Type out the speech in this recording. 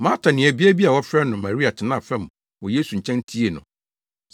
Marta nuabea bi a wɔfrɛ no Maria tenaa fam wɔ Yesu nkyɛn tiee no.